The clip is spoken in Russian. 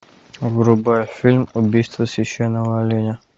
врубай фильм убийство священного оленя